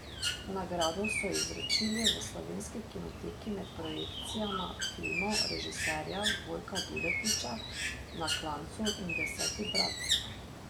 Nagrado so ji izročili v slovenski Kinoteki med projekcijama filmov režiserja Vojka Duletiča Na klancu in Deseti brat.